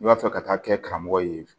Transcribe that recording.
I b'a fɛ ka taa kɛ karamɔgɔ ye